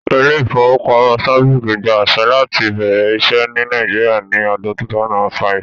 Ilé-ìfowópamọ́sí Stanbic gba àṣẹ láti bẹ̀rẹ̀ iṣẹ́ ní Nàìjíríà ní ọdún 2005